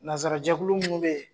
Nansarajɛkulu minnu bɛ yen.